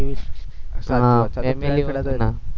હા family વાડા એ તો ના